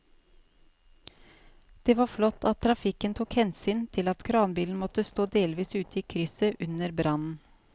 Det var flott at trafikken tok hensyn til at kranbilen måtte stå delvis ute i krysset under brannen.